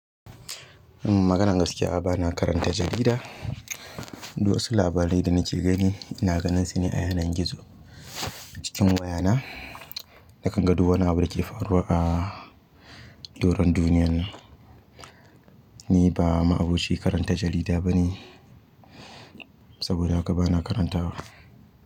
Maganin gaskiya a ba na karanta jarida. Du wasu labarai da na ke gani, ina ganin su ne a yanar gizo cikin wayana. Na kan ga du wani abun da ke faruwa a doron duniyan. Ni ba ma'aboci karanta jarida ba ne saboda haka ba na karantawa.